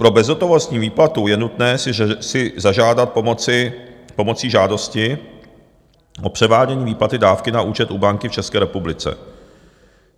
Pro bezhotovostní výplatu je nutné si zažádat pomocí žádosti o převádění výplaty dávky na účet u banky v České republice.